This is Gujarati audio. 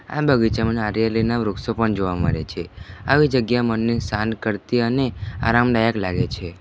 આ બગીચામાં નારિયેળીના વૃક્ષો પણ જોવા મળે છે આવી જગ્યા મને શાંત કરતી અને આરામદાયક લાગે છે.